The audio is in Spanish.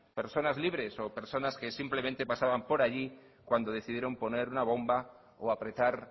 personas libres o personas que simplemente pasaban por allí cuando decidieron poner una bomba o apretar